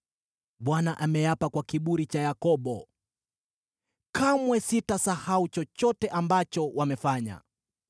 Bwana ameapa kwake mwenyewe, aliye Kiburi cha Yakobo: “Kamwe sitasahau chochote ambacho wamefanya.